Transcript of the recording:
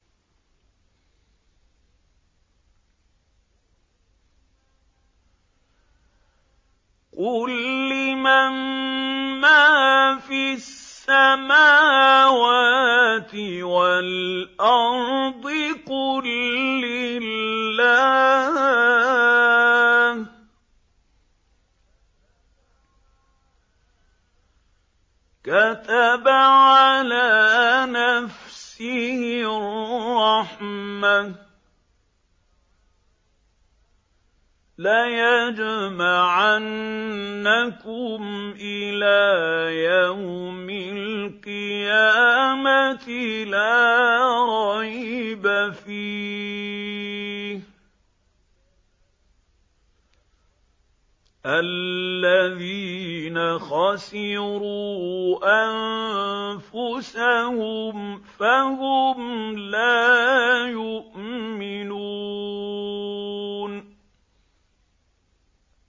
قُل لِّمَن مَّا فِي السَّمَاوَاتِ وَالْأَرْضِ ۖ قُل لِّلَّهِ ۚ كَتَبَ عَلَىٰ نَفْسِهِ الرَّحْمَةَ ۚ لَيَجْمَعَنَّكُمْ إِلَىٰ يَوْمِ الْقِيَامَةِ لَا رَيْبَ فِيهِ ۚ الَّذِينَ خَسِرُوا أَنفُسَهُمْ فَهُمْ لَا يُؤْمِنُونَ